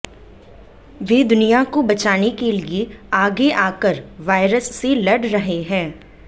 वे दुनिया को बचाने के लिए आगे आकर वायरस से लड़ रहे हैं